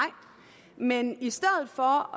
men i stedet for